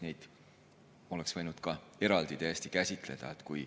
Neid oleks võinud ka täiesti eraldi käsitleda.